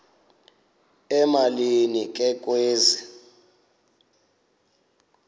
emalini ke kwezi